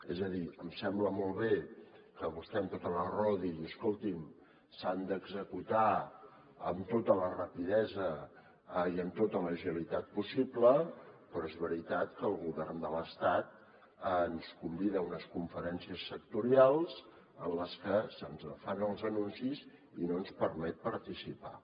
és a dir em sembla molt bé que vostè amb tota la raó digui escolti’m s’han d’executar amb tota la rapidesa i amb tota l’agilitat possible però és veritat que el govern de l’estat ens convida a unes conferències sectorials en les que se’ns fan els anuncis i no ens permet participar